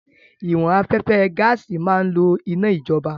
Ìwọ̀n afẹ́fẹ́ gaàsì máa ń lò iná ìjọba